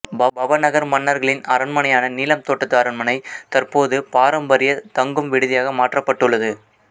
பவநகர் மன்னர்களின் அரண்மனையான நீலம் தோட்டத்து அரண்மனை தற்போது பாரம்பரிய தங்கும் விடுதியாக மாற்றப்பட்டுள்ளது